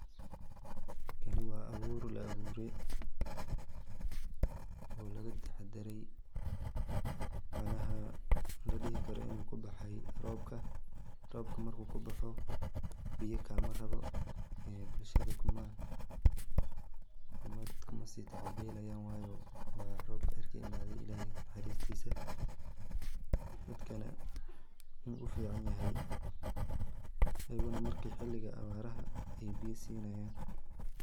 Kani waa abuur la abuuriye oo laga taxadare macnaha ladhihi karo inu kubaxay robka, robka marku kubuxo biya kama rabo bulshada kumasii tacab belayan wayo waa robka cirka ka imaade illahey naxaristisa ,dadkana wuu u fican yahay, ayagana marki ,xiligii abaraha ayay biya sinayan